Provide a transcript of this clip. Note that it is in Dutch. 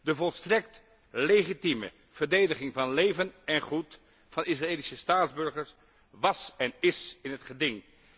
De volstrekt legitieme verdediging van leven en goed van Israëlische staatsburgers was en is in het geding.